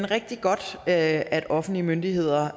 rigtig godt at offentlige myndigheder